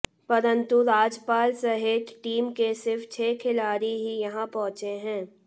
परंतु राजपाल सहित टीम के सिर्फ छह खिलाड़ी ही यहां पहुंचे हैं